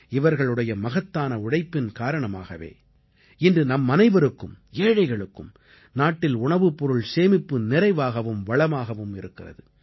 இவர்களுடைய மகத்தான உழைப்பின் காரணமாகவே இன்று நம்மனைவருக்கும் ஏழைகளுக்கும் நாட்டில் உணவுப்பொருள் சேமிப்பு நிறைவாகவும் வளமாகவும் இருக்கிறது